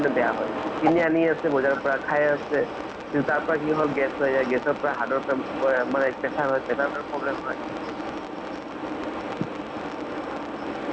আৰু কিবা এ মাজতে চালো মানে মই কিবা trailer চালো trailer advertise চালো কিবা হেৰি ৰিচা শৰ্মাৰ movie সেইটো যিমত যে সাত দিনত চাগে release হʼব নেকি।